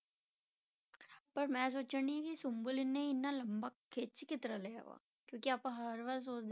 ਪਰ ਮੈਂ ਸੋਚਣ ਦੀ ਸੀ ਸੁੰਬਲ ਨੇ ਇੰਨਾ ਲੰਬਾ ਖਿੱਚ ਕਿਸ ਤਰ੍ਹਾਂ ਲਿਆ ਵਾ ਕਿਉਂਕਿ ਆਪਾਂ ਹਰ ਵਾਰ ਸੋਚਦੇ,